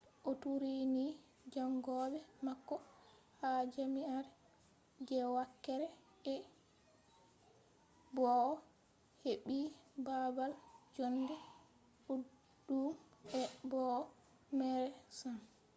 o turini jaangoɓe mako ha jam'iare je wakere e bo'o o heɓɓi baabal jonde ɗuɗɗum e bo'o meere sam